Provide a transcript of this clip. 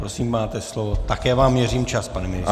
Prosím, máte slovo, také vám měřím čas, pane ministře.